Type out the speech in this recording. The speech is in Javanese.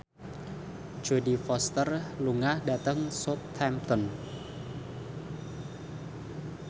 Jodie Foster lunga dhateng Southampton